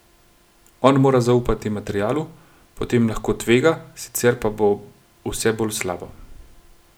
On mora zaupati materialu, potem lahko tvega, sicer pa bo vse bolj slabo.